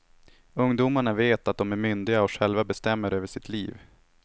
Ungdomarna vet att de är myndiga och själva bestämmer över sitt liv.